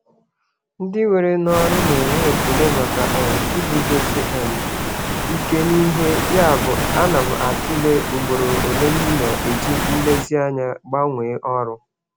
Ndị were n'ọrụ na-enwe ekele maka um iguzosi um ike n'ihe, yabụ ana m atụle ugboro ole m na-eji nlezianya gbanwee ọrụ.